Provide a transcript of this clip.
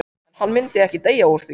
En hann myndi ekki deyja úr því.